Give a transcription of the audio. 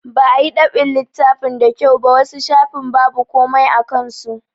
Ba a yi dab'in littafin da kyau ba, wasu shafin babu komai a kan su.